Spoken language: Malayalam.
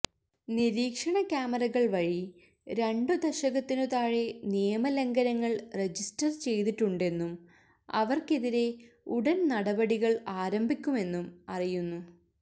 നിരീക്ഷണ കാമറകള് വഴി രണ്ടു ദശകത്തിനു താഴെ നിയമ ലംഘനങ്ങള് രജിസ്റ്റര് ചെയ്തിട്ടുണ്ടെന്നും അവര്ക്കെതിരെ ഉടന് നടപടികള് ആരംഭിക്കുമെന്നും അറിയുന്നു